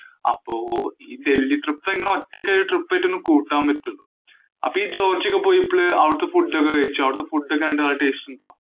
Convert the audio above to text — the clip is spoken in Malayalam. അപ്പൊ ഈ ദല്‍ഹി trip ഒറ്റയ്ക്ക് ഒരു trip ആയിട്ടു കൂട്ടാന്‍ പറ്റും. അപ്പൊ ഈ ജോര്‍ജിയക്ക്‌ പോയപ്പോള് അവിടത്തെ food ഒക്കെ കഴിച്ചോ? അവിടത്തെ food എങ്ങനാ? നല്ല taste ഉണ്ടോ?